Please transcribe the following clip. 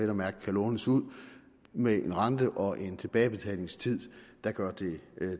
at mærke kan lånes ud med en rente og en tilbagebetalingstid der gør det